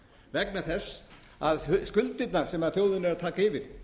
vegna þess að skuldirnar sem þjóðin er að taka yfir